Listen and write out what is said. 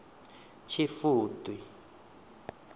tshifudi